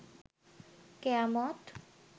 কেয়ামত